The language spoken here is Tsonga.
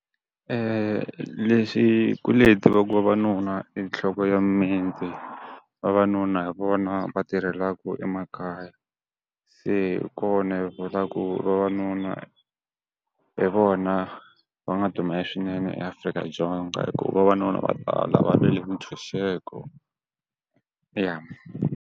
leswi hi kule hi tiva ku vavanuna i nhloko ya mimiti, vavanuna hi vona va tirhelaka emakaya. Se kona hi ku vavanuna hi vona va nga dumile swinene eAfrika-Dzonga hikuva vavanuna vo tala va lwele mintshunxeko i ya.